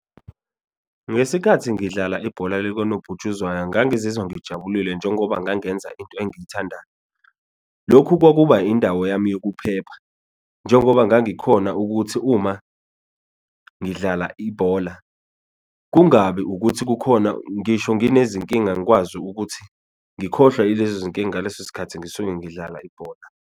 Ngesikhathi ngidlala ibhola likanobhutshuzwayo ngangizwa ngijabulile njengoba ngangenza into engiyithandayo lokhu kwakuba indawo yami yokuphepha, njengoba ngangikhona ukuthi uma ngidlala ibhola kungabi ukuthi kukhona, ngisho nginezinkinga ngikwazi ukuthi ngikhohlwa yilezo zinkinga ngaleso sikhathi ngisuke ngidlala ibhola.